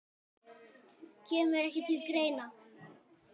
Kemur ekki til greina